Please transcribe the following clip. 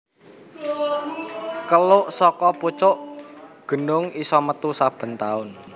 Keluk saka pucuk genung isa metu saben taun